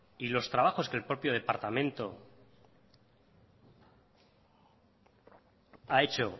y los trabajos que el propio departamento ha hecho